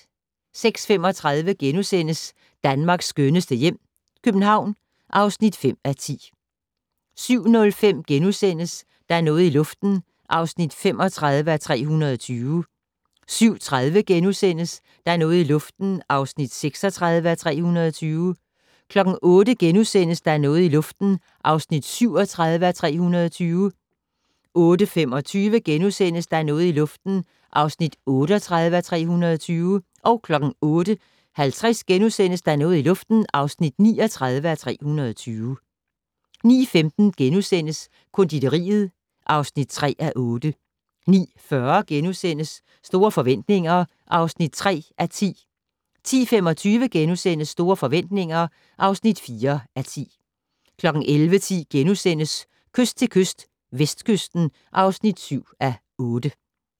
06:35: Danmarks skønneste hjem - København (5:10)* 07:05: Der er noget i luften (35:320)* 07:30: Der er noget i luften (36:320)* 08:00: Der er noget i luften (37:320)* 08:25: Der er noget i luften (38:320)* 08:50: Der er noget i luften (39:320)* 09:15: Konditoriet (3:8)* 09:40: Store forretninger (3:10)* 10:25: Store forretninger (4:10)* 11:10: Kyst til kyst - Vestkysten (7:8)*